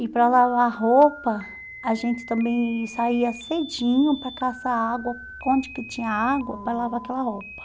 E para lavar roupa, a gente também saía cedinho para caçar água, onde que tinha água, para lavar aquela roupa.